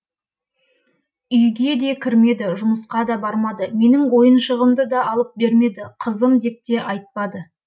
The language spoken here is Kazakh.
үйге де кірмеді жұмысқа да бармады менің ойыншығымды да алып бермеді қызым деп те айтпады